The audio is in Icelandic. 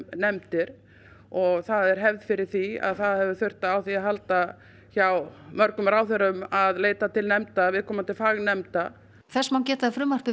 nefndir og það er hefð fyrir því að það hafi þurft á því að halda hjá mörgum ráðherrum að leita til nefnda viðkomandi fagnefndar þess má geta að frumvarpið